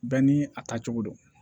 Bɛɛ ni a tacogo don